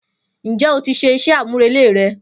Njé o tí se isé àmúrelé re?